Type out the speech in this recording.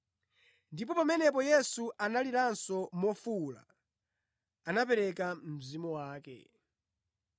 Ndipo pamene Yesu analiranso mofuwula, anapereka mzimu wake.